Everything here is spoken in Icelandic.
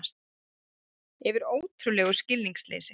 Yfir ótrúlegu skilningsleysi